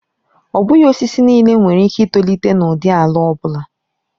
Ọ bụghị osisi niile nwere ike itolite n'ụdị ala ọ bụla.